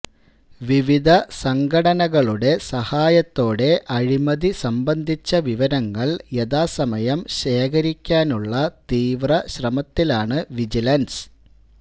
വിവിധ സംഘടനകളുടെ സഹായത്തോടെ അഴിമതി സംബന്ധിച്ച വിവരങ്ങള് യഥാസമയം ശേഖരിക്കാനുള്ള തീവ്ര ശ്രമത്തിലാണ് വിജിലന്സ്